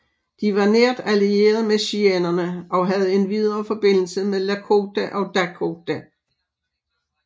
De var nært allieret med cheyennerne og havde endvidere forbindelse med lakota og dakota